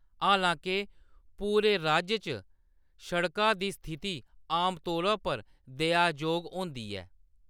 हालांके, पूरे राज्य च सड़का दी स्थिति आमतौरै पर दया जोग होंदी ऐ।